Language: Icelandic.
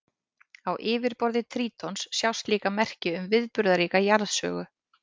Á yfirborði Trítons sjást líka merki um viðburðaríka jarðsögu.